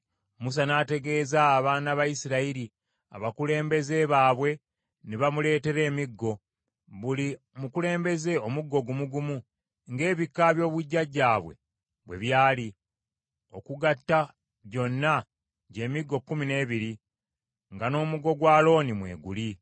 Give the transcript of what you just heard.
Musa n’ategeeza abaana ba Isirayiri; abakulembeze baabwe ne bamuleetera emiggo, buli mukulembeze omuggo gumu gumu, ng’ebika by’obujjajjaabwe bwe byali, okugatta gyonna gy’emiggo kkumi n’ebiri, nga n’omuggo gwa Alooni mwe guli.